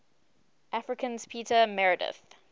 africans peter meredith